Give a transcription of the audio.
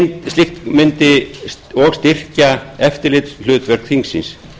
slík mundi og styrkja eftirlitshlutverk þingsins